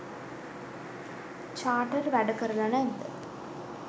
චාටර් වැඩ කරලා නැද්ද